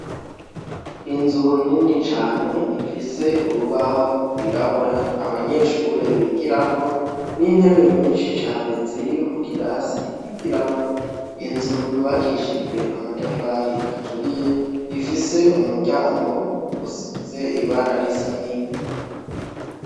Inzu nini cane ifise urubaho rwirabura abanyeshure bigirako n'intebe nyinshi cane ziri mu kirasi bigiramwo, inzu yubakishijwe n'amatafari aturiye, ifise umuryango usize ibara risa n'ivu.